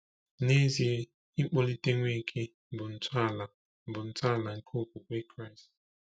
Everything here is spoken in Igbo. N’ezie, ịkpọlite Nweke bụ ntọala bụ ntọala nke okwukwe Kraịst.